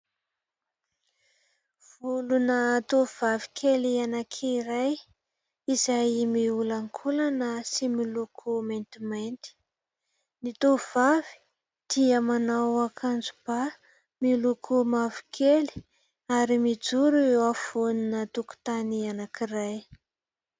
Volona tovovavy kely anankiray izay miolankolana sy miloko maintimainty. Ny tovovavy dia manao akanjoba miloko mavokely ary mijoro eo afovoana tokotany anankiray.